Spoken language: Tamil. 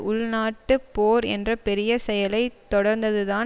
உள்நாட்டுப் போர் என்ற பெரிய செயலை தொடர்ந்ததுதான்